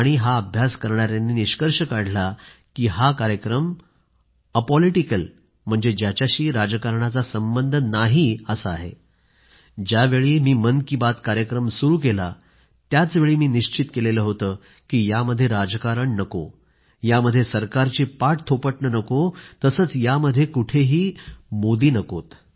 हा अभ्यास करणाऱ्यांनी निष्कर्ष काढला आहे की हा कार्यक्रम राजकारणाशी संबंधित नाही ज्यावेळी मी मन की बात कार्यक्रम सुरू केला त्याचवेळी मी निश्चित केलं होतं की यामध्ये राजकारण नको यामध्ये सरकारची पाठथोपटणं नको तसंच यामध्ये कुठं मोदी नकोत